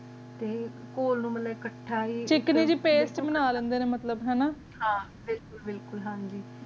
T ਕੋਲ ਨੂ ਮਾਲਾਯ੍ਕਾਥਾ ਵੀ ਚਿਕਨੀ ਦੀਮ ਪਸਤ ਬਣਾ ਲੇੰਡੇ ਨੇ ਮਤਲਬ ਹਾਨਾ ਹਨ ਬਿਲਕੁਲ ਬਿਲਕੁਲ ਹਨ ਜੀ